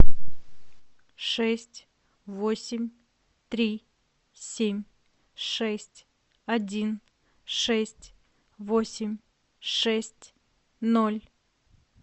шесть восемь три семь шесть один шесть восемь шесть ноль